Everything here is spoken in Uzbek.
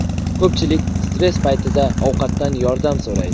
Ko‘pchilik stress paytida ovqatdan yordam so‘raydi.